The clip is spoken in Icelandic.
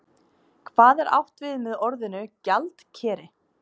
Hvað er átt við með orðinu gjaldkeri?